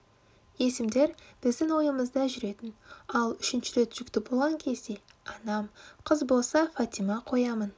есімдер біздің ойымызда жүретін ал үшінші рет жүкті болған кезде анам қыз болса фатима қоямын